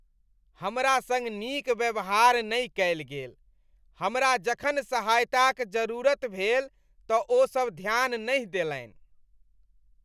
हमरा सङ्ग नीक व्यवहार नहि कयल गेल, हमरा जखन सहायताक जरूरत भेल तँ ओ सब ध्यान नहि देलनि।